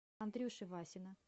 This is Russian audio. андрюши васина